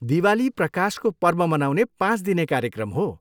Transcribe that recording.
दिवाली प्रकाशको पर्व मनाउने पाँच दिने कार्यक्रम हो।